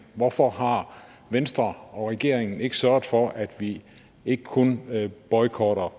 hvorfor har venstre og regeringen ikke sørget for at vi ikke kun boykotter